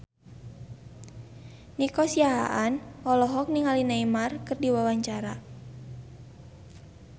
Nico Siahaan olohok ningali Neymar keur diwawancara